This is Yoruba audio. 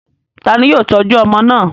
Ta ni yóò tọ́jú ọmọ náà?